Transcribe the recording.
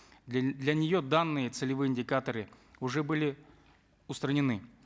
для для нее данные целевые индикаторы уже были устранены